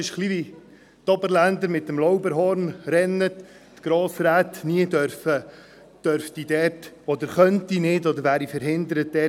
Es ist etwas ähnlich wie für die Oberländer mit dem Lauberhorn-Rennen, wenn die Grossräte diesem niemals beiwohnen könnten.